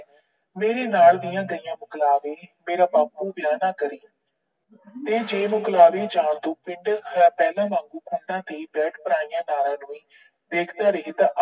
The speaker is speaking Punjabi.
ਮੇਰੇ ਨਾਲ ਦੀਆਂ ਗਈਆਂ ਮਕਲਾਬੇ, ਮੇਰਾ ਬਾਪੂ ਵਿਆਹ ਨਾ ਕਰੀਂ। ਤੇ ਜੇ ਮੁਕਲਾਬੇ ਜਾਣ ਤੋਂ ਪਿੰਡ ਪਹਿਲਾ ਵਾਂਗੂ ਖੂੰਡੇ ਬੈਠਪਰਾਈਆਂ ਨਾਰਾ ਨੂੰ ਦੇਖਦਾ ਰਹੇ ਤਾਂ ਨਾਲ ਕਿਹਾ ਜਾਂਦਾ ਹੈ